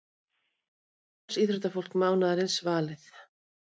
Frjálsíþróttafólk mánaðarins valið